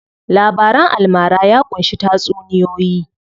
Labaran almara ya ƙunshi tatsuniyoyi.